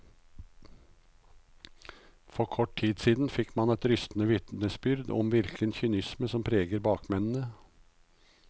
For kort tid siden fikk man et rystende vitnesbyrd om hvilken kynisme som preger bakmennene.